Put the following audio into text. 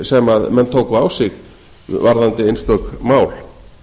sem menn tóku á sig varðandi einstök mál